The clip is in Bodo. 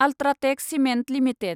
UltraTech cement limited